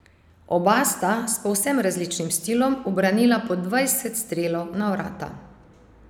Oba sta, s povsem različnim stilom, ubranila po dvajset strelov na vrata.